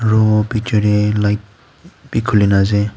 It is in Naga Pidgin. ro picture light bi khulina ase.